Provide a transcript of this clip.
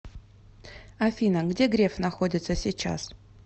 афина где греф находится сейчас